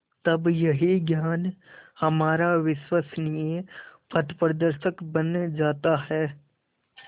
तब यही ज्ञान हमारा विश्वसनीय पथप्रदर्शक बन जाता है